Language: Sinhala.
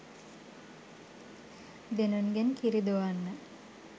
දෙනුන්ගෙන් කිරි දොවන්න